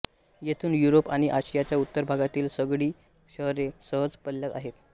येथून युरोप आणि आशियाच्या उत्तर भागातील सगळी शहरे सहज पल्ल्यात आहेत